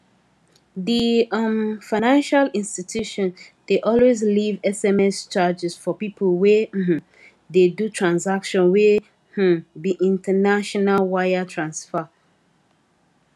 the um financial institution dey always leave sms charges for people wey um dey do transactions wey um be international wire transfer